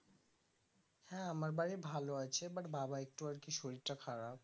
হ্যাঁ আমার বাড়ি ভালো আছে but বাবার একটু আরকি শরীরটা খারাপ